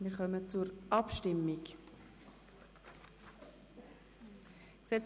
Wir kommen zur Schlussabstimmung des Traktandums 75: